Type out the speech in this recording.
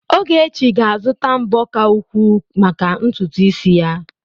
Ogechi ga-azụta mbo ka ukwuu maka ntutu isi ya.